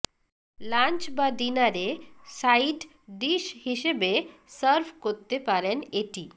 lunch বা ডিনারে side dish হিসেবে সার্ভ করতে পারেন এটি